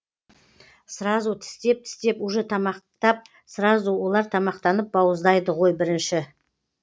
сразу тістеп тістеп уже тамақтап сразу олар тамақтанып бауыздайды ғой бірінші